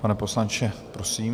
Pane poslanče, prosím.